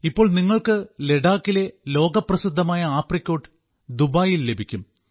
ഇപ്പോൾ നിങ്ങൾക്ക് ലഡാക്കിലെ ലോകപ്രസിദ്ധമായ ആപ്രിക്കോട്ട് ദുബായിൽ ലഭിക്കും